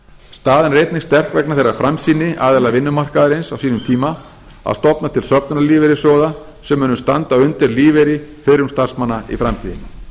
staðan er einnig sterk vegna þeirrar framsýni aðila vinnumarkaðar á sínum tíma að stofna til söfnunarlífeyrissjóða sem munu standa undir lífeyri fyrrum starfsmanna í framtíðinni